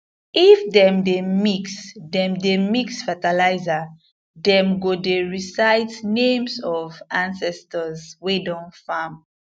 if dem dey mix dem dey mix fertilizer dem go dey recite names of ancestors wey don farm